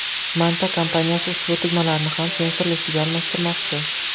Manta kompaniyasi ushbu tugmalarni ham sensorlisiga almashtirmoqchi.